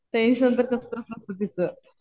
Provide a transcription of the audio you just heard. Tension तर कसलंच नसतं तिचं.